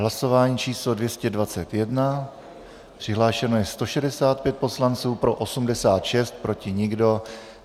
Hlasování číslo 221, přihlášeno je 165 poslanců, pro 86, proti nikdo.